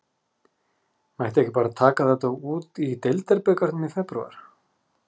Mætti ekki bara taka þetta út í deildarbikarnum í febrúar?